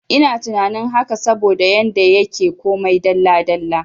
Ina tunanin haka saboda yanda yake komai dalla dalla